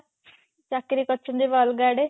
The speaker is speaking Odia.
ଚାକିରି କରିଛନ୍ତି ଏବେ ଅଲଗା ଆଡେ